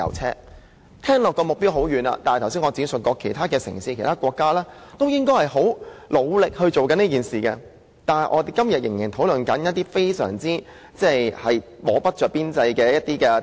這目標聽起來好像很遙遠，但我剛才也指出，其他城市和國家現正努力做好這件事，但我們今天仍然在討論一些不着邊際的政策。